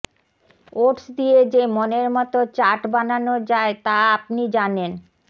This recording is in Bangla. ওটস দিয়ে যে মনের মতো চাট বানানো যায় তা আপনি জানেন